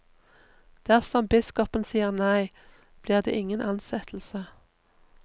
Dersom biskopen sier nei, blir det ingen ansettelse.